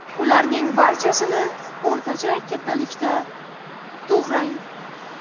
Ularning barchasini o‘rtacha kattalikda to‘g‘rang.